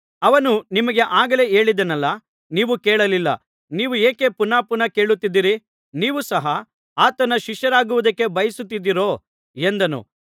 ಅವನು ನಿಮಗೆ ಆಗಲೇ ಹೇಳಿದೆನಲ್ಲಾ ನೀವು ಕೇಳಲಿಲ್ಲ ನೀವು ಯಾಕೆ ಪುನಃ ಪುನಃ ಕೇಳುತ್ತಿದ್ದೀರಿ ನೀವು ಸಹ ಆತನ ಶಿಷ್ಯರಾಗುವುದಕ್ಕೆ ಬಯಸುತ್ತಿದ್ದೀರೋ ಎಂದನು